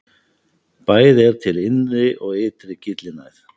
Bæði er til innri og ytri gyllinæð.